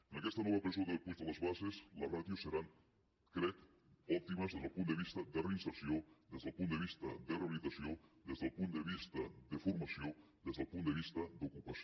en aquesta nova presó de puig de les basses les ràtios seran crec òptimes des del punt de vista de reinserció des del punt de vista de rehabilitació des del punt de vista de formació des del punt de vista d’ocupació